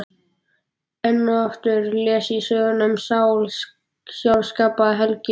Enn og aftur les ég söguna um Sál, sjálfskapaða helgi